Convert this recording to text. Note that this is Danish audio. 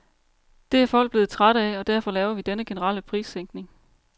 Det er folk blevet trætte af, og derfor laver vi denne generelle prissænkning.